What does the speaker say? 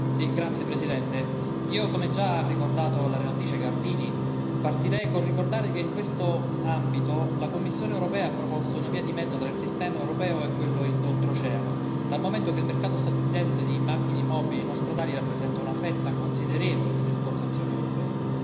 Signor Presidente, onorevoli colleghi, io, come già ricordato la relatrice Gardini, esordierei col ricordare che, in questo ambito, la Commissione europea ha proposto una via di mezzo tra il sistema europeo e quello e d'oltreoceano, dal momento che il mercato statunitense di macchine mobili non stradali rappresenta una fetta considerevole delle esportazioni europee.